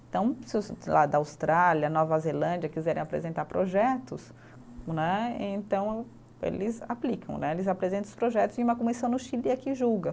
Então, se da Austrália, Nova Zelândia quiserem apresentar projetos né, então eles aplicam né, eles apresentam os projetos em uma comissão no Chile e aqui julga.